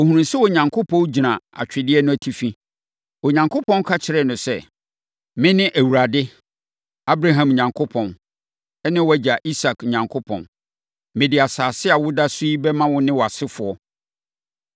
Ɔhunuu sɛ Onyankopɔn gyina atwedeɛ no atifi. Onyankopɔn ka kyerɛɛ no sɛ, “Mene Awurade, Abraham Onyankopɔn, ne wʼagya Isak Onyankopɔn. Mede asase a woda so yi bɛma wo ne wʼasefoɔ.